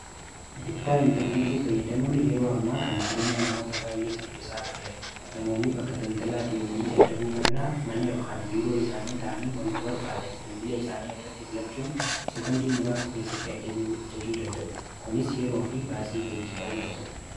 Bittaa intarneetii fayyadamuun yeroo ammaa kana jireenya namoota baay'ee salpisaa dufeera namoonni bakka daldalaa deemanii dadhabuu mannaa mana yookaan biiroo isaanii taanii wanta barbaadan bilbilee isaanii irratti filachuun seekondii muraasa keessatti ajajuu danda'u kunis yeroo fi baasii geejjibaani qusata.